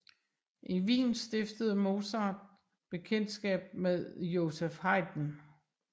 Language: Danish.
I Wien stiftede Mozart bekendtskab med Joseph Haydn